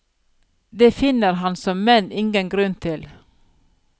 Det finner han så menn ingen grunn til.